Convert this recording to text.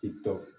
Titɔ